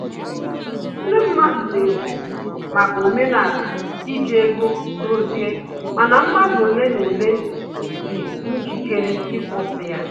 Ndị mmadụ na-ekwu maka omenala iji ego dozie, mana mmadụ ole na ole dị njikere ịkwụsị ya